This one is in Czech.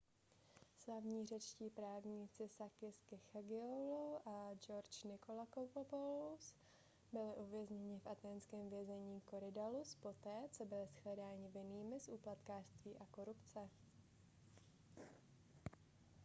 slavní řečtí právníci sakis kechagioglou a george nikolakopoulos byli uvězněni v athénském vězení korydallus poté co byli shledáni vinnými z úplatkářství a korupce